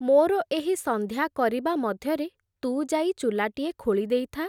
ମୋର ଏହି ସଂନ୍ଧ୍ୟା କରିବା ମଧ୍ୟରେ ତୁ ଯାଇ ଚୁଲାଟିଏ ଖୋଳି ଦେଇଥା ।